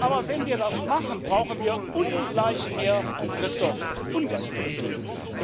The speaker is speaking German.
Aber wenn wir das machen, brauchen wir ungleich mehr Ressourcen ungleich mehr Ressourcen!